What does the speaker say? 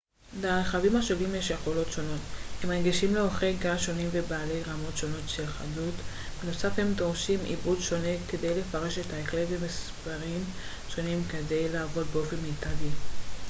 להרכבים השונים יש יכולות שונות הם רגישים לאורכי גל שונים ובעלי רמות שונות של חדות בנוסף הם דורשים עיבוד שונה כדי לפרש את הקלט ומספרים שונים כדי לעבוד באופן מיטבי